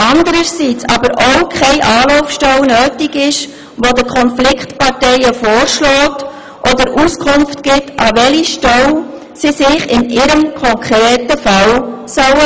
Zudem wird auch keine Anlaufstelle benötigt, die den Konfliktparteien vorschlägt oder ihnen Auskunft gibt, an welche Stelle sie sich in ihrem konkreten Fall wenden sollen.